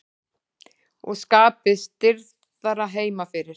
Og skapið stirðara heima fyrir.